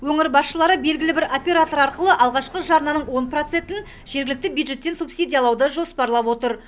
өңір басшылары белгілі бір оператор арқылы алғашқы жарнаның он процентін жергілікті бюджеттен субсидиялауды жоспарлап отыр